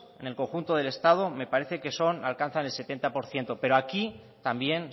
en el conjunto del estado me parece que alcanzan el setenta por ciento pero aquí también